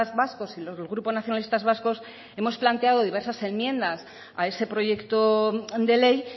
vascos y los del grupo nacionalistas vascos hemos planteado diversas enmiendas a ese proyecto de ley